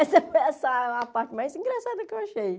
Essa foi a sa a parte mais engraçada que eu achei.